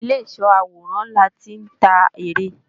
Ìlé ìsó àwòrán láti ń ta ère